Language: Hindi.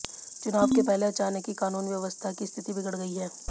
चुनाव के पहले अचानक ही कानून व्यवस्था की स्थिति बिगड़ गयी है